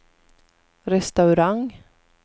restaurang